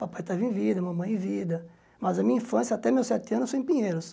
Papai estava em vida, mamãe em vida, mas a minha infância, até meus sete anos, foi em Pinheiros.